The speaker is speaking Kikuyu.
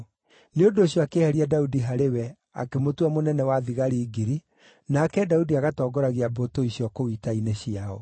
Nĩ ũndũ ũcio akĩeheria Daudi harĩ we akĩmũtua mũnene wa thigari ngiri, nake Daudi agatongoragia mbũtũ icio kũu ita-inĩ ciao.